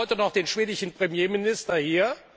Wir haben heute noch den schwedischen Premierminister hier.